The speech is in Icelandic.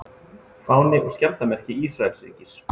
Fáni og skjaldarmerki Ísraelsríkis.